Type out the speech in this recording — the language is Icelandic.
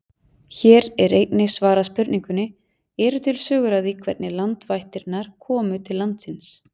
Hér er einnig svarað spurningunni: Eru til sögur af því hvernig landvættirnar komu til landsins?